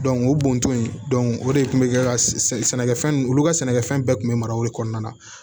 o bɔntɔ in o de kun be kɛ ka sɛ sɛnɛkɛfɛn olu ka sɛnɛkɛfɛn bɛɛ tun be mara o de kɔnɔna na